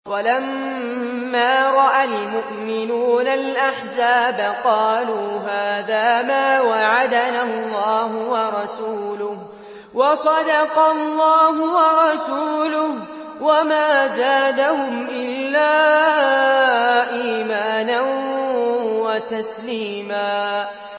وَلَمَّا رَأَى الْمُؤْمِنُونَ الْأَحْزَابَ قَالُوا هَٰذَا مَا وَعَدَنَا اللَّهُ وَرَسُولُهُ وَصَدَقَ اللَّهُ وَرَسُولُهُ ۚ وَمَا زَادَهُمْ إِلَّا إِيمَانًا وَتَسْلِيمًا